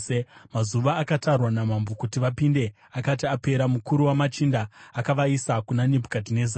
Mazuva akatarwa namambo kuti vapinde akati apera, mukuru wamachinda akavaisa kuna Nebhukadhinezari.